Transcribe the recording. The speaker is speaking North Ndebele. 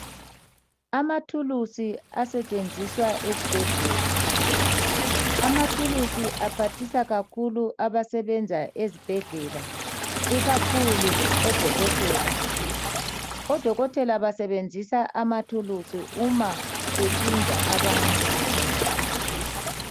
Amathulusi asetshenziswa ezibhedlela. Amathulusi aphathisa kakhulu abasebenza ezibhedlela, ikakhulu odokotela. Odokotela basebenzisa amathulusi uma behlinza abantu.